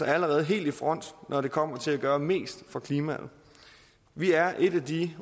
allerede helt i front når det kommer til at gøre mest for klimaet vi er et af de